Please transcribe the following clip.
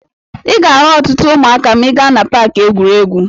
Ị ga-ahụ ọtụtụ ụmụaka ma ị gaa na paakị egwuregwu.